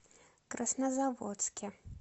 краснозаводске